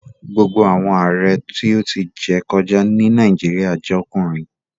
Gbogbo awọn Aare ti o ti jẹ kọja ni Nàìjíríà jẹ ọkunrin